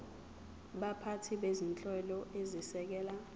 baphathi bezinhlelo ezisekela